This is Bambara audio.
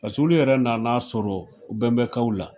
Paseke olu yɛrɛ nana sɔrɔ bɛnbakaw la.